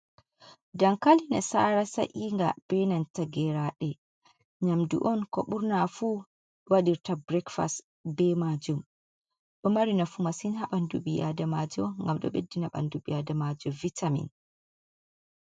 "Dankali nasara" sa’iga benanta geraɗe nyamdu on ɓurnafu waɗirta birekfas be majum. Ɗo mari nafu masin ha ɓandu ɓii adamajo ngam ɗo ɓeddina bandu ɓii adamajo vitamin.